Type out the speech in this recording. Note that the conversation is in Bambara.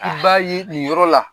I b'a ye nin yɔrɔ la